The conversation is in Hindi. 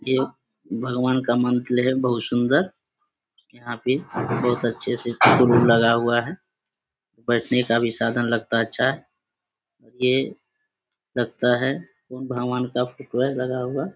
ये भगवान का मंदिर है बहुत सुंदर यहाँ बहुत अच्छे से बोर्ड - वॉर्ड लगा हुआ है बैठने का भी साधन लगता है अच्छा है ये ये लगता है बुद्ध भगवान का फोटो है लगा हुआ।